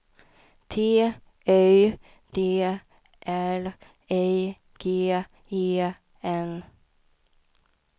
T Y D L I G E N